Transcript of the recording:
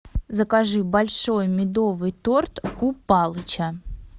закажи большой медовый торт у палыча